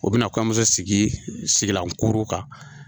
O bɛna kɔɲɔmuso sigi sigilankuru kan.